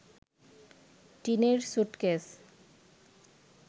টিনের স্যুটকেস